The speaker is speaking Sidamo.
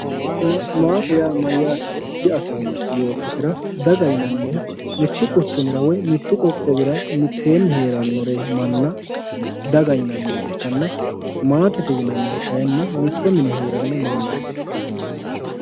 daganna maate yaa mayyaatero diafoommo yoottotera dagate yinannihu mittu quchumira woy mittu qoqqowira mitteenni heeranno manna daga yinanniha ikkanna maate yianannihu kayiinni mitto mine heeranno mannaati.